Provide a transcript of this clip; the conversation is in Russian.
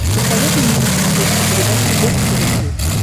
посоветуй мне на смотрешке передачу бокс тв плюс